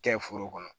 Kɛ foro kɔnɔ